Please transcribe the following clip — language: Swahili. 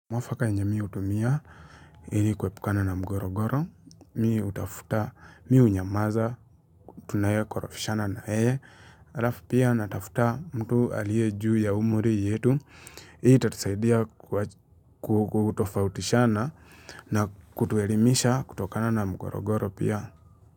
Mwafaka yenye mi utumia ili kwepukana na mgorogoro, mi utafuta, mi unyamaza, tunaye korofishana na yeye, alafu pia natafuta mtu alie juu ya umuri yetu, hii tatusaidia kutofautishana na kutuelimisha kutokana na mgorogoro pia.